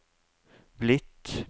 blitt